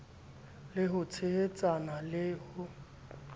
le ho tshehetsana le ho